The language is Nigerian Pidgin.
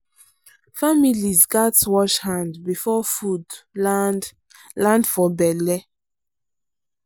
families gats wash hand before food land land for belle.